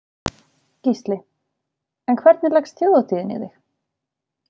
Gísli: En hvernig leggst Þjóðhátíðin í þig?